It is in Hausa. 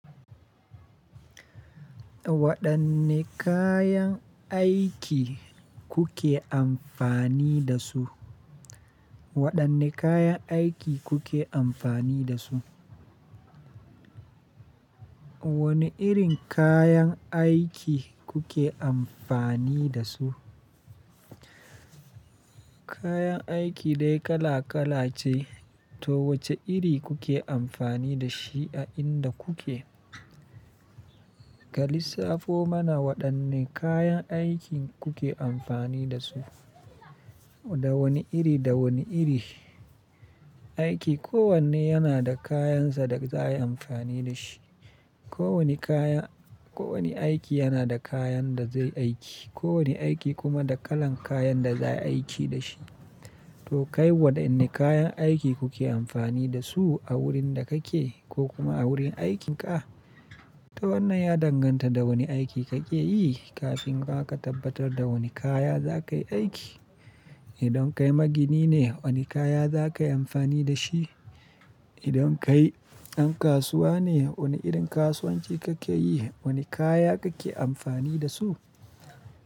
Waɗanne kayan aiki kuke amfani da su? Waɗanne kayan aiki kuke amfani da su? Wane irin kayan aiki kuke amfani da su? Kayan aiki dai kala kala ce to wace iri kuke amfani da shi a inda kuke? Ka lissafo mana waɗanne kayan aikin kuke amfani da su. Da wani iri, da wani iri aiki. Ko wanne yana da kayansa da za ayi amfani da shi. Ko wani kaya, ko wani aiki yana da kayan da zai aiki. Ko wani aiki kuma da kalan kayan da za a yi aiki da shi. To kai waɗanne kayan aiki kuke amfani da su a wurin da kake ko kuma a wurin aikinka? To wannan ya danganta da wani aiki kake yi kafin ma ka tabbatar da wane kaya za ka yi aiki. Idan kai magini ne, wane kaya za ka yi amfani da shi? Idan kai ɗan kasuwa ne, wane irin kasuwanci kake yi? Wane kaya kake amfani da su?